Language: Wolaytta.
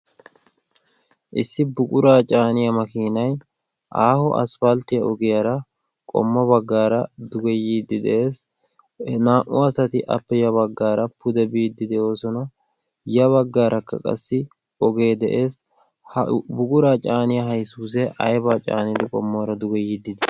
Issi buquraa caaniya makiinay aaho asppalttiyara qommo baggaara duge yiidi de'ees. 2u asati appe ya baggaara pude biiddi de'oosona. Ya baggaarakka qassi ogee de'ees. Ha buquraa caaniya haysuusee aybaa caanidi qommoora yiiddi dii?